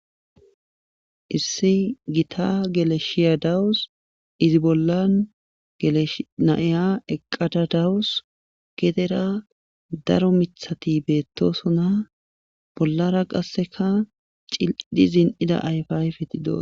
Issi gita geleshiya dawus izi bolla galeshnaiya eqqadadawus gedera daro mithati beettosona bollara qasseka cil7idhi zin7ida ayfayfetido